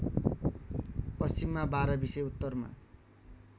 पश्चिममा बाह्रविसे उत्तरमा